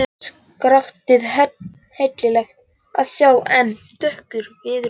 Skaftið heillegt að sjá en dökkur viðurinn.